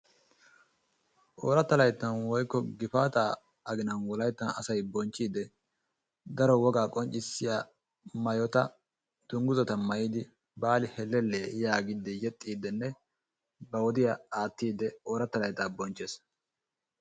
Ooratta layttan woykko gifataa aginan asay wolayttan bonchchiidi daro wogaa qonccisiyaa maayota duguzzata maayidi baali hellelle yaagiidi yexxiidinne ba wodiyaa aattiidi ooratta layttaa bonchchees.